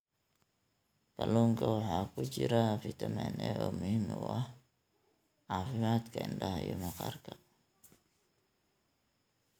Kalluunka waxaa ku jira fitamiin A oo muhiim u ah caafimaadka indhaha iyo maqaarka.